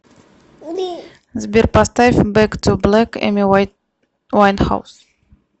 сбер поставь бэк ту блэк эми вайнхаус